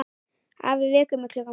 Afi vekur mig klukkan fimm.